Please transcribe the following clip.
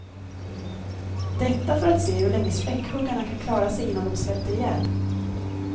Detta för att se hur länge späckhuggarna kan klara sig innan de svälter ihjäl.